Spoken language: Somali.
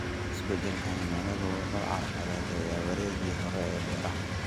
Isbeddelka cimiladu waxa uu carqaladeeyey wareeggii hore ee beeraha.